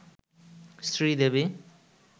Sridevi